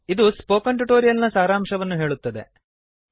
ಇದು spoken tutorial ನ ಸಾರಾಂಶವನ್ನು ಹೇಳುತ್ತದೆ